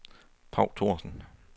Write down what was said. Paw Thorsen